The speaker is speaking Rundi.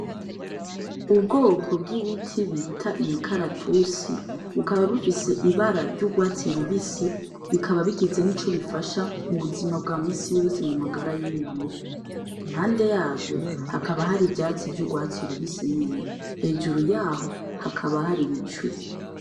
Ubwoko bw'ibiti bita imikaratusi bukaba bufise ibara ry'urwatsi rubisi, bikaba bigize nico bifasha mu buzima bwa misi yose mu magara y'umuntu, impande yavyo hakaba hari ivyatsi vy’urwatsi rubisi nyene, hejuru yaho hakaba hari ibicu.